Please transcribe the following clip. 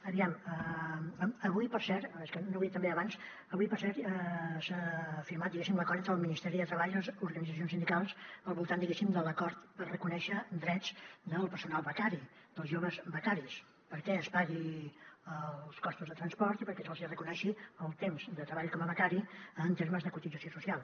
aviam avui per cert és que no ho he dit també abans s’ha firmat diguéssim l’acord entre el ministeri de treball i les organitzacions sindicals al voltant diguéssim de l’acord per reconèixer drets del personal becari dels joves becaris perquè es paguin els costos de transport i perquè se’ls hi reconegui el temps de treball com a becari en termes de cotització social